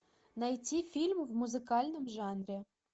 найти фильм в музыкальном жанре